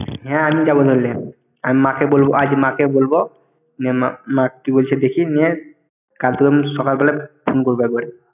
হ্যাঁ আমি যাব ।আমি মাকে বলব~, আজ মাকে বলব। যে মা~ মা কি বলছে দেখি নিয়ে, কাল তোকে আমি সকাল বেলা Phone করব একবারে।